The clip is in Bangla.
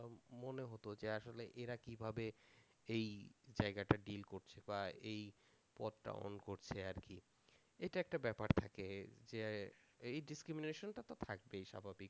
মনে হতো যে আসলে এরা কিভাবে এই জায়গাটা ডিল করছে বা এই পথটা করছে আর কি? এইটা একটা ব্যাপার থাকে যে এই ডিসক্রিমিনেশন টা তো থাকবেই স্বাভাবিক।